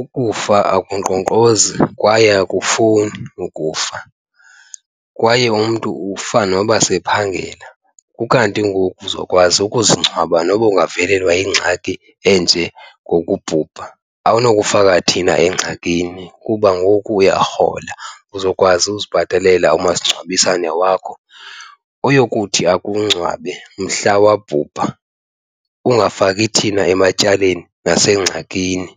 ukufa akunkqonkqozi kwaye akufowuni ukufa kwaye umntu ufa noba sephangela. Ukanti ngoku uzokwazi ukuzingcwaba noba ungavelelwa yingxaki enje ngokubhubha, awunokufika thina engxakini kuba ngoku uyarhola. Uzokwazi uzibhatalela umasingcwabisane wakho oyokuthi akungcwabe mhla wabhubha, ungafaki thina ematyaleni nasengxakini.